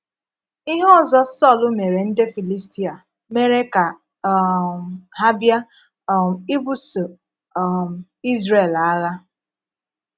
Ihe ọzọ́ Sọl mére ndị Filistia mere ka um ha bịa um ìbùsó um Izrel àgha.